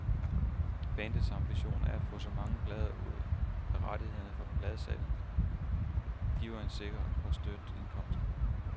Bandets ambition er at få så mange plader ud, at rettighederne fra pladesalget giver en sikker og støt indkomst.